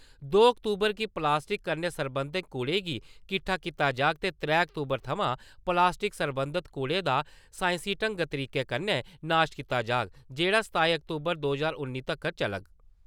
दो अक्तूबर गी प्लास्टिक कन्नै सरबंधत कूड़ें गी किट्ठा कीता जाग ते त्रैऽ अक्तूबर थमां प्लास्टिक सरबंधत कूड़े दा सांईसी ढंग-तरीके कन्नै नाश कीता जाग जेहड़ा सताई अक्तूबर दो जहार उन्नी तकर चलग।